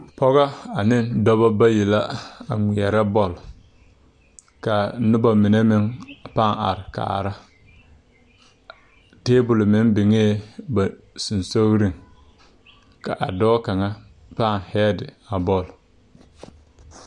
Pɔgɔ aneŋ dɔbɔ bayi la a ngmɛɛrɛ bɔl kaa nobɔ mine meŋ pãã are kaara tabol meŋ biŋee ba seŋsugliŋ ka a dɔɔ kaŋa pãã heedi a bɔl.